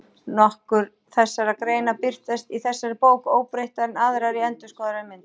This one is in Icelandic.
Nokkrar þessara greina birtast í þessari bók óbreyttar en aðrar í endurskoðaðri mynd.